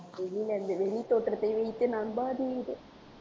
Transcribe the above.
வெளித்தோற்றத்தை வைத்து நம்பாதீர்